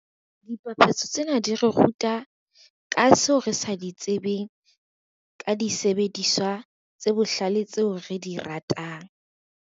Dipapatso tsena di re ruta, ka seo re sa di tsebeng ka disebediswa tse bohlale tseo re di ratang.